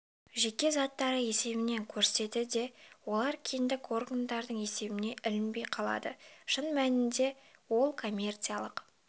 жеке заттары есебінде көрсетеді де олар кедендік органдардың есебіне ілінбей қалады шын мәнінде ол коммерциялық